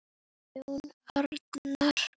Jón Agnar?